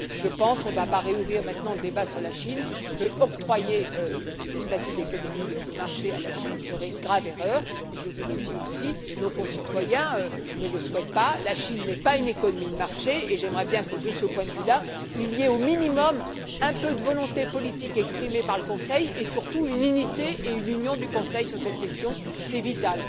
Je pense on ne va pas rouvrir maintenant le débat sur la Chine qu'octroyer le statut d'économie de marché à la Chine serait une grave erreur, et je vous le dis aussi nos concitoyens ne le souhaitent pas. La Chine n'est pas une économie de marché et j'aimerais bien que de ce point de vue là, il y ait, au minimum, un peu de volonté politique exprimée par le Conseil et, surtout, une unité et une union du Conseil sur cette question, c'est vital.